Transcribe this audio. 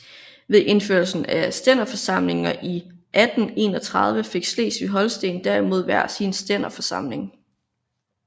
Ved indførelsen af stænderforsamlinger i 1831 fik Slesvig og Holsten derimod hver sin stænderforsamling